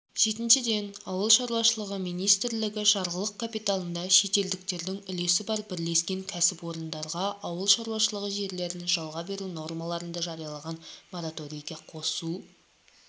жетіншіден ауыл шаруашылығы министрлігі жарғылық капиталында шетелдіктердің үлесі бар бірлескен кәсіпорындарға ауыл шаруашылығы жерлерін жалға беру нормаларын да жарияланған мораторийге қосу